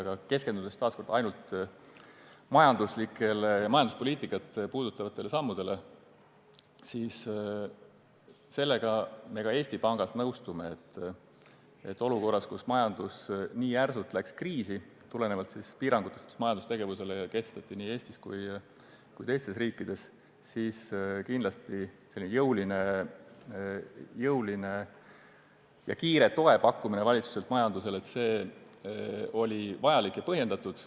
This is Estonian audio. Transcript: Aga keskendudes taas kord ainult majanduslikele ja majanduspoliitikat puudutavatele sammudele, siis sellega me Eesti Pangas nõustume, et olukorras, kus majandus läks nii järsult kriisi tulenevalt piirangutest, mis majandustegevusele nii Eestis kui ka teistes riikides kehtestati, oli jõuline ja kiire toe pakkumine valitsuselt majandusele kindlasti vajalik ja põhjendatud.